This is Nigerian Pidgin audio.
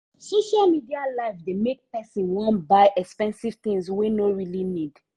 social media life dey make people wan buy expensive things wey no really need.